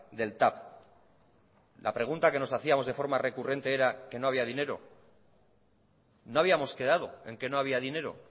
del tav la pregunta que nos hacíamos de forma recurrente era que no había dinero no habíamos quedado en que no había dinero